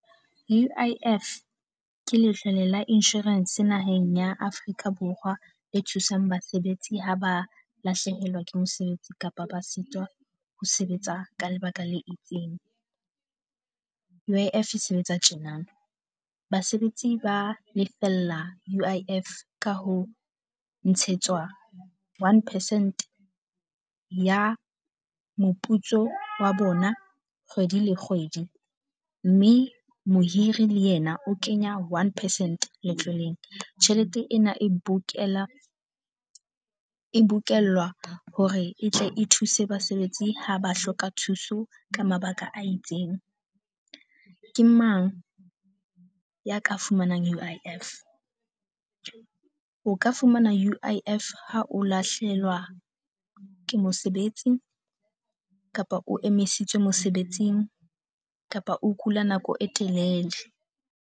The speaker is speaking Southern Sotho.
U_I_F ke letlole la insurance naheng ya Afrika Borwa, e thusang basebetsi ha ba lahlehelwa ke mosebetsi kapa ba sitwa ho sebetsa ka lebaka le itseng. U_I_F e sebetsa tjenana, basebetsi ba lefella U_I_F ka ho ntshetswa one percent ya moputso wa bona kgwedi le kgwedi, mme mohiri le yena o kenya one percent letloleng. Tjhelete ena e book-ela e bokellwa hore e tle e thuse basebetsi ha ba hloka thuso ka mabaka a itseng. Ke mang ya ka fumanang U_I_F? O ka fumana U_I_F ha o lahlehelwa ke mosebetsi kapa o emisitswe mosebetsing, kapa o kula nako e telele,